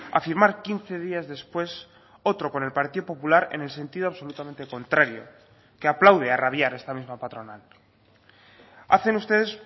a firmar quince días después otro con el partido popular en el sentido absolutamente contrario que aplaude a rabiar esta misma patronal hacen ustedes